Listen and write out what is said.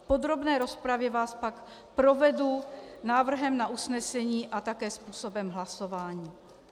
V podrobné rozpravě vás pak provedu návrhem na usnesení a také způsobem hlasování.